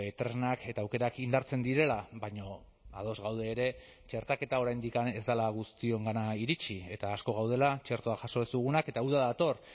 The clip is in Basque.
tresnak eta aukerak indartzen direla baina ados gaude ere txertaketa oraindik ez dela guztiongana iritsi eta asko gaudela txertoa jaso ez dugunak eta uda dator